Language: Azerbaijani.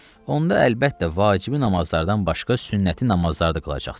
onda əlbəttə vacibi namazlardan başqa sünnəti namazlar da qılacaqsan.